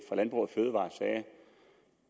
fra landbrug fødevarer sagde